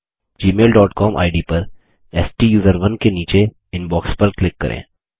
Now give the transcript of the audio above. Gmail dot com ID पर स्टूसरोन नीचे इनबॉक्स पर क्लिक करें